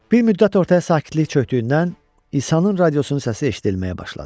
Bir müddət ortaya sakitlik çökdüyündən İsanın radiosunun səsi eşidilməyə başladı.